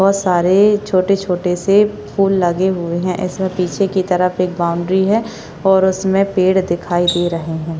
बहुत सारे छोटे छोटे से फूल लगे हुए है एसा पीछे की तरफ एक बाउंड्री है और इसमें पेड़ दिखाई दे रहे है।